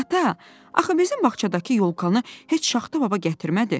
"Ata, axı bizim bağçadakı yolkanı heç Şaxta baba gətirmədi.